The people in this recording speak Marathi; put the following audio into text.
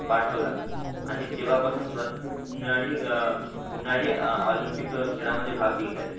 पाठवला आणि तेव्हा पासून अं अनादी ऑलिम्पिक खेळा मदे भाग घेतायत